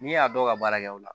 N'i y'a dɔw ka baara kɛ aw la